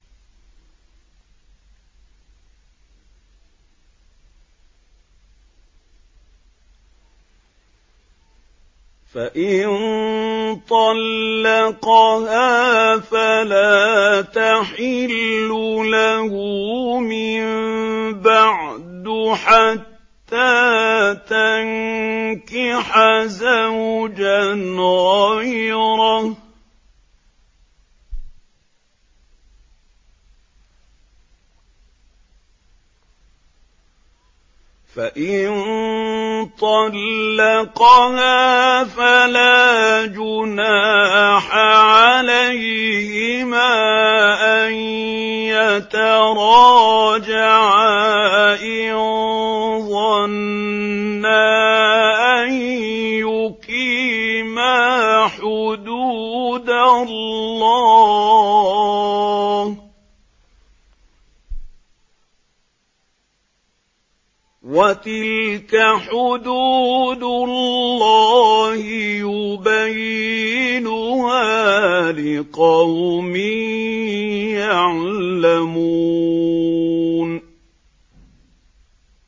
فَإِن طَلَّقَهَا فَلَا تَحِلُّ لَهُ مِن بَعْدُ حَتَّىٰ تَنكِحَ زَوْجًا غَيْرَهُ ۗ فَإِن طَلَّقَهَا فَلَا جُنَاحَ عَلَيْهِمَا أَن يَتَرَاجَعَا إِن ظَنَّا أَن يُقِيمَا حُدُودَ اللَّهِ ۗ وَتِلْكَ حُدُودُ اللَّهِ يُبَيِّنُهَا لِقَوْمٍ يَعْلَمُونَ